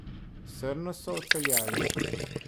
Srno so odpeljali.